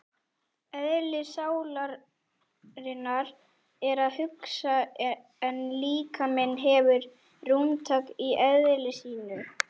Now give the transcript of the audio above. Eðli sálarinnar er að hugsa en líkaminn hefur rúmtak í eðli sínu.